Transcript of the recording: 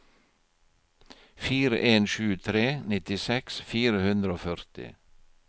fire en sju tre nittiseks fire hundre og førti